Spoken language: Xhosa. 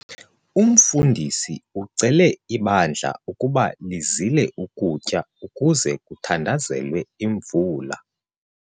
Umfundisi ucele ibandla ukuba lizile ukutya ukuze kuthandazelwe imvula.